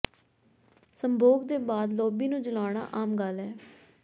ਸੰਭੋਗ ਦੇ ਬਾਅਦ ਲੌਬੀ ਨੂੰ ਜਲਾਉਣਾ ਆਮ ਗੱਲ ਹੈ